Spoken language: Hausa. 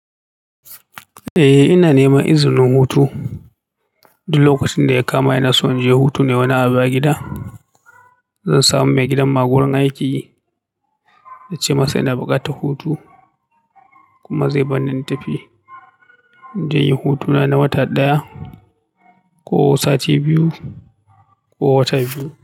Eh ina neman izinin hutu. Duk lokacin da ya kama ina son je hutu nai wani abu a gida. Zan samu mai gidanmu a wurin aiki, na ce masa ina buƙatar hutu kuma zai bar ni in tafi. Inje inyi hutuna na wata ɗaya ko sati biyu ko wata biyu.